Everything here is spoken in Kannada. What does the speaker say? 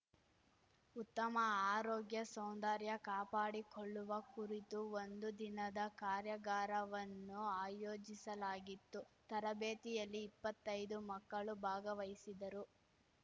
ಉತ್ತಮ ಆರೋಗ್ಯ ಸೌಂದರ್ಯ ಕಾಪಾಡಿಕೊಳ್ಳುವ ಕುರಿತು ಒಂದು ದಿನದ ಕಾರ್ಯಗಾರವನ್ನು ಆಯೋಜಿಸಲಾಗಿತ್ತು ತರಬೇತಿಯಲ್ಲಿ ಇಪ್ಪತ್ತೈದು ಮಕ್ಕಳು ಭಾಗವಹಿಸಿದ್ದರು